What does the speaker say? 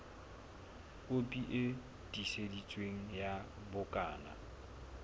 kopi e tiiseditsweng ya bukana